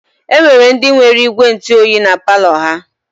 E nwere ndị nwere ígwèntụoyi na palọ ha.